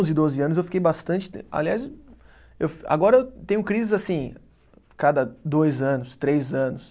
Onze, doze anos eu fiquei bastante. Aliás eu, agora eu tenho crises assim, cada dois anos, três anos.